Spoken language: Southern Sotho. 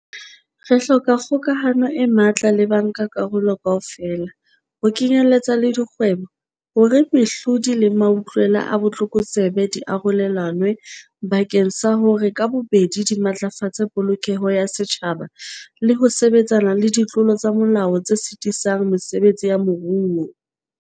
Re hloka kgokahano e matla le bankakarolo kaofela, ho kenyeletsa le dikgwebo, hore mehlodi le mautlwela a botlokotsebe di arolelanwe bakeng sa hore ka bobedi di matlafatse polokeho ya setjhaba le ho sebetsana le ditlolo tsa molao tse sitisang mesebetsi ya moruo.